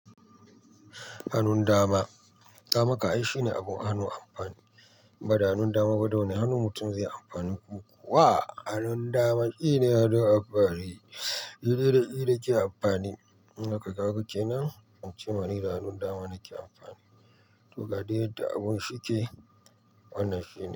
Hanun dama, damaka ai shine abun hannun amfani, bada hannun dama ba, da wane hannu mutum zai yi amfani? Ko kuwa hannun dama shine hannun amfani? Iri iri irin ke amfani, haka kawai kene, muce mana iri hannun dama nake amfani. To kaɗai da abun shi ke wannan shekarar.